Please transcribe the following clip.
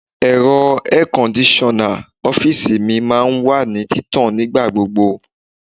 Ẹ̀rọ air kondisona ọ́fíìsì mi máa ń wà ní títàn nígbà gbogbo.